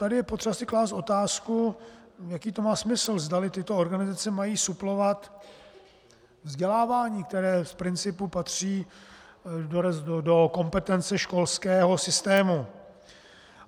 Tady je potřeba si klást otázku, jaký to má smysl, zdali tyto organizace mají suplovat vzdělávání, které z principu patří do kompetence školského systému.